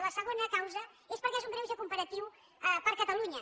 la segona causa és perquè és un greuge comparatiu per a catalunya